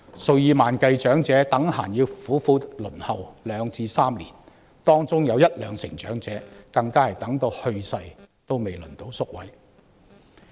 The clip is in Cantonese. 數以萬計長者動輒要苦苦輪候兩至三年，當中有一兩成長者更是直到去世仍未輪候到宿位。